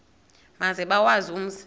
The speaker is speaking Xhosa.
maze bawazi umzi